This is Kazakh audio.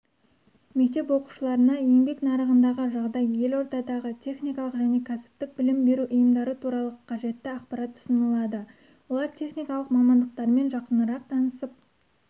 мектеп оқушыларына еңбек нарығындағы жағдай елордадағы техникалық және кәсіптік білім беру ұйымдары туралы қажетті ақпарат ұсынылады олар техникалық мамандықтармен жақынырақ танысып